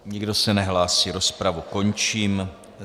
Nikdo se nehlásí, rozpravu končím.